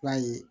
I b'a ye